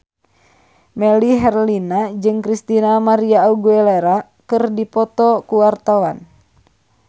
Melly Herlina jeung Christina María Aguilera keur dipoto ku wartawan